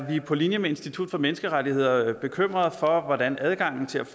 på linje med institut for menneskerettigheder bekymret for hvordan adgangen til